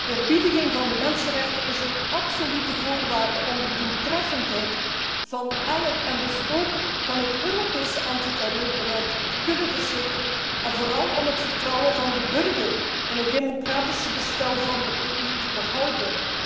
Eerbiediging van mensenrechten is een absolute voorwaarde om de doeltreffendheid van elk, en dus ook van het Europese, antiterreurbeleid te kunnen verzekeren en vooral om het vertrouwen van de burger in het democratische bestel van de EU te behouden.